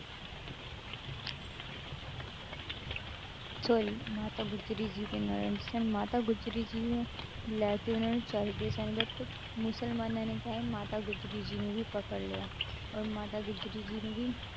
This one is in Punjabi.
Sorry ਮਾਤਾ ਗੁਜ਼ਰੀ ਜੀ ਦੇ ਨਾਲ then ਮਾਤਾ ਗੁਜ਼ਰੀ ਜੀ ਨੂੰ ਲੈ ਕੇ ਉਹਨਾਂ ਨੂੰ ਚਲੇ ਗਏ ਸਨ but ਮੁਸਲਮਾਨਾਂ ਨੇ ਕਿਆ ਹੈ, ਮਾਤਾ ਗੁਜ਼ਰੀ ਜੀ ਨੂੰ ਵੀ ਪਕੜ ਲਿਆ ਔਰ ਮਾਤਾ ਗੁਜ਼ਰੀ ਜੀ ਨੂੰ ਵੀ,